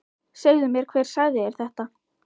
Segðu mér hver sagði þér þetta.